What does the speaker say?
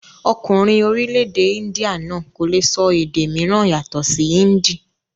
Ọkùnrin orílẹ̀-èdè índíà náà kò le sọ èdè mìíràn yàtọ̀ sí índì.